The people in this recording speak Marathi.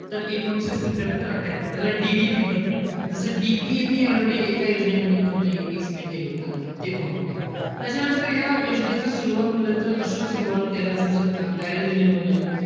तर एकोणीसशे सत्त्यात्तर अठ्ठयात्तर. त्याला DDP म्हणतात. जस DPAP already एका योजनेमध्ये तुम्हाला मी explain केलं होतं. ते पाहून घ्या. त्याच्यानंतर या योजनेचं सुरवात म्हणलं तर अशुभ सुरवात, तेलाचा झटका, दारिद्र्य निर्मूलन,